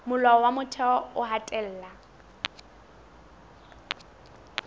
molao wa motheo o hatella